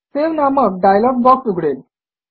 save नामक dialog box उघडेल